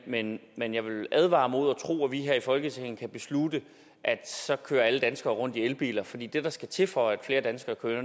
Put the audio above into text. men men jeg vil advare imod at tro at vi her i folketinget kan beslutte at så kører alle danskere rundt i elbiler fordi det der skal til for at flere danskere kører